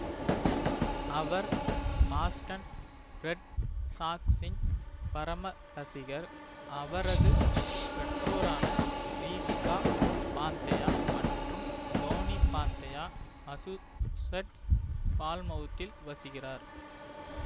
அவர் Boston Red சாக்ஸ்இன் பரம ரசிகர் அவரது பெற்றோரான தீபிகா பாந்தயா மற்றும் தோனி பாந்தயா மசூசெட்ஸ் பால்மவுத்தில் வசிக்கிறார்